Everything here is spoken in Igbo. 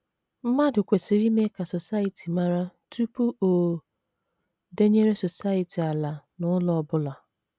Mmadụ kwesịrị ime ka Society mara tupu o denyere Society ala na ụlọ ọ bụla.